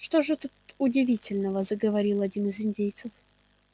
что же тут удивительного заговорил один из индейцев